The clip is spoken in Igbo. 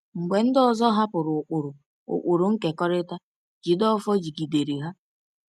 Mgbe ndị ọzọ hapụrụ ụkpụrụ ụkpụrụ nkekọrịta, Jideofor jigidere ha.